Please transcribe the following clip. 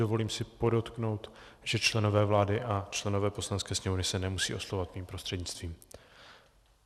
Dovolím si podotknout, že členové vlády a členové Poslanecké sněmovny se nemusí oslovovat mým prostřednictvím.